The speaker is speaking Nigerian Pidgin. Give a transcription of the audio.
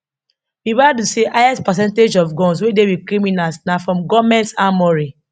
ribadu say highest percentage of guns wey dey wit criminals na from goment armoury